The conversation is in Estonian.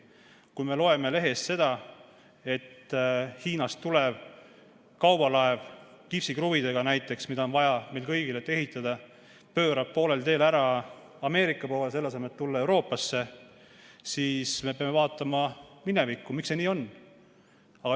Kui me loeme lehest, et Hiinast tulev kaubalaev näiteks kipsikruvidega, mida on vaja meil kõigil, et ehitada, pöörab poolel teel ära Ameerika poole, selle asemel et tulla Euroopasse, siis me peame vaatama minevikku, miks see nii on.